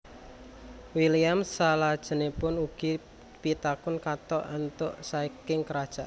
William salajengipun ugi pikantuk kathah enthengan saking Kerajaan